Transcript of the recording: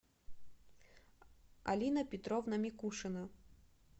алина петровна микушина